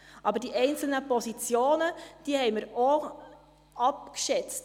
Aber auch die einzelnen Positionen haben wir abgeschätzt.